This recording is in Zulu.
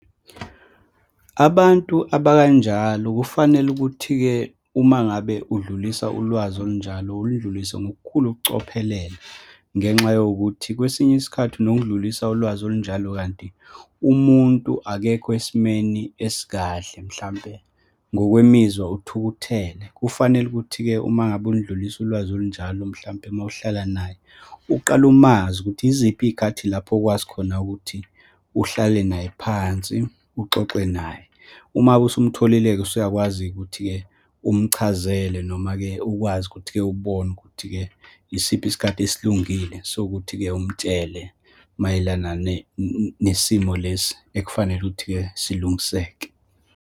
Abantu abakanjalo kufanele ukuthi-ke, uma ngabe udlulisa ulwazi olunjalo, ulidlulise ngokukhulu ukucophelela ngenxa yokuthi kwesinye isikhathi unokudlulisa ulwazi olunjalo, kanti umuntu akekho esimeni esikahle, mhlampe ngokwemizwa uthukuthele. Kufanele ukuthi-ke uma ngabe ulidlulisa ulwazi olunjalo, mhlampe uma uhlala naye, uqale umazi, ukuthi yiziphi iy'khathi lapho okwazi khona ukuthi uhlale naye phansi, uxoxe naye. Uma usumtholile-ke usuyakwazi ukuthi-ke umchazele, noma-ke ukwazi ukuthi-ke ubone ukuthi-ke yisiphi isikhathi esilungile sokuthi-ke umtshele mayelana nesimo lesi ekufanele ukuthi-ke silungiseke.